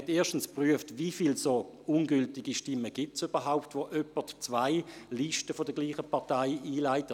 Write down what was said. Erstens prüfte man, wie viele dieser ungültigen Stimmen es überhaupt gibt, wenn jemand zwei Listen derselben Partei einlegt.